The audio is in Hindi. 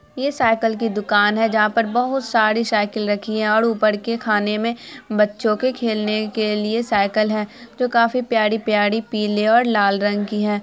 ये साइकल की दुकान है जहाँ पर बोहत सारी साइकल रखी हुई है। और ऊपर के खाने में बच्चों के खेलने के लिए साइकल है जो की काफी प्यारी-प्यारी पीले और लाल रंग की है ।